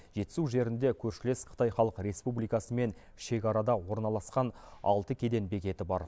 жетісу жерінде көршілес қытай халық республикасымен шекарада орналасқан алты кеден бекеті бар